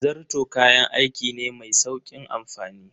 Zarto kayan aiki ne mai sauƙin amfani.